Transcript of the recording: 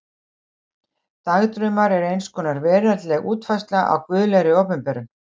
Dagdraumar eru eins konar veraldleg útfærsla á guðlegri opinberun.